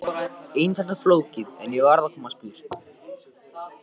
Einfalt eða flókið, ég varð að komast burt.